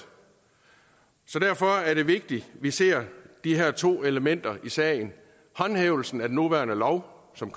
så derfor er det vigtigt at vi ser de her to elementer i sagen håndhævelsen af den nuværende lov som